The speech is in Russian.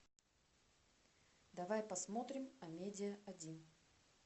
давай посмотрим амедиа один